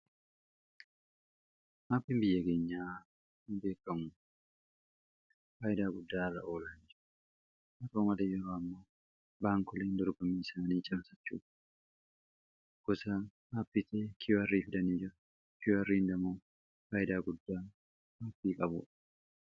maapiin biyyageenyaa hin beekgamu faaydaa guddaa ra olaanji maroo male yeroo ammo baankolen dorbamiisaanii camsachu kusa maappitee kiar fidanii kirndamuu faaydaa guddaa maapii qabu